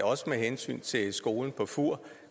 også med hensyn til skolen på fur